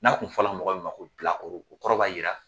N'a tun fɔra mɔgɔ min ma ko bila kɔrɔ, o kɔrɔ b'a jira